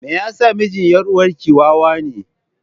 Me yasa mijin yar uwarki wawa ne?